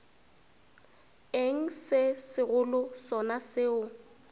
eng se segolo sona seo